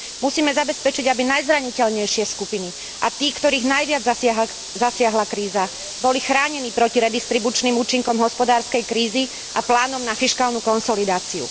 Musíme zabezpečiť, aby najzraniteľnejšie skupiny a tí, ktorých najviac zasiahla kríza, boli chránení proti redistribučným účinkom hospodárskej krízy a plánom na fiškálnu konsolidáciu.